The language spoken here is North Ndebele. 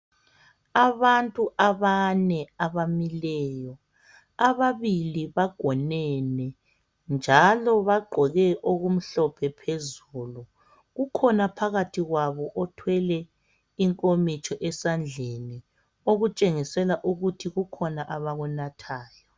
Abantu abane abamileyo ababili bagonene njalo bagqoke okumhlophe phezulu, kukhona phakathi kwabo othwele inkomitsho esandleni okutshengisela ukuthi kukhona abakunathayo.